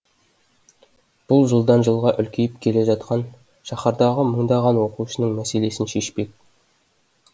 бұл жылдан жылға үлкейіп келе жатқан шаһардағы мыңдаған оқушының мәселесін шешпек